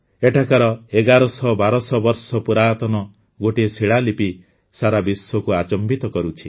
ଏଠାକାର ୧୧୦୦ ୧୨୦୦ ବର୍ଷ ପୁରାତନ ଗୋଟିଏ ଶିଳାଲିପି ସାରା ବିଶ୍ୱକୁ ଆଚମ୍ଭିତ କରୁଛି